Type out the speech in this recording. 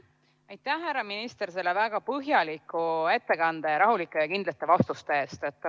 Aitäh, härra minister, selle väga põhjaliku ettekande ning rahulike ja kindlate vastuste eest!